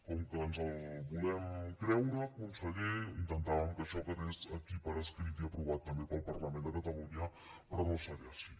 com que ens el volem creure conseller intentàvem que això quedés aquí per escrit i aprovat també pel parlament de ca·talunya però no serà així